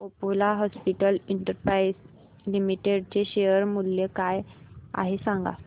Apollo hospitals enterprise limited चे share मूल्य काय आहे सांगा